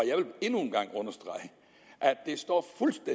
at det står